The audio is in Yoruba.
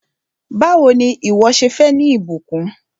Báwò ni ìwọ́ ṣe fẹ́ ní ìbùkún?